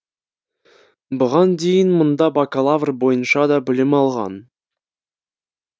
бұған дейін мұнда бакалавр бойынша да білім алған